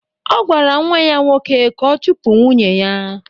Ọ gwara nwa ya nwoke ka ọ chụpụ nwunye ya.